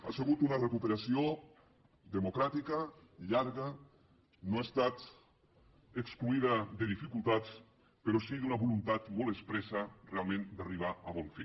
ha sigut una recuperació democràtica llarga no ha estat exclosa de dificultats però sí d’una voluntat molt expressa realment d’arribar a bon fi